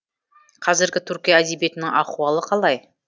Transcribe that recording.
қазіргі түркия әдебиетінің ахуалы қалай